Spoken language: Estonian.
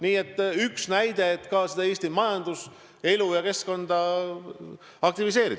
See on üks näide soovist Eesti majanduselu ja -keskkonda aktiviseerida.